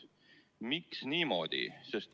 Miks niimoodi?